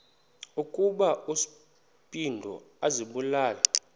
ukuba uspido azibulale